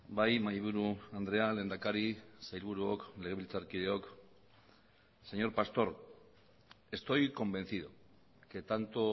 bai mahaiburu andrea lehendakari sailburuok legebiltzarkideok señor pastor estoy convencido que tanto